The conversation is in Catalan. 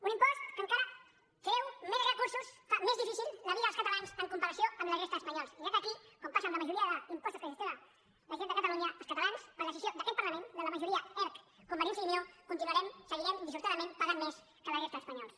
un impost que encara treu més recursos fa més difícil la vida dels catalans en comparació amb la resta d’espanyols ja que aquí com passa amb la majoria d’impostos que gestiona la generalitat de catalunya els catalans per decisió d’aquest parlament de la majoria erc convergència i unió continuarem seguirem dissortadament pagant més que la resta d’espanyols